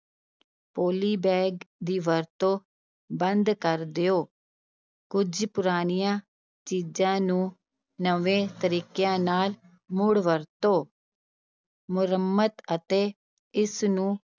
polybag ਦੀ ਵਰਤੋਂ ਬੰਦ ਕਰ ਦਿਓ, ਕੁੱਝ ਪੁਰਾਣੀਆਂ ਚੀਜ਼ਾਂ ਨੂੰ ਨਵੇਂ ਤਰੀਕਿਆਂ ਨਾਲ ਮੁੜ ਵਰਤੋ ਮੁਰੰਮਤ ਅਤੇ ਇਸਨੂੰ